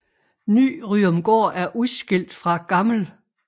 Ny Ryomgård er udskilt fra Gl